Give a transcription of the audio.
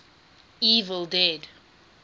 evil dead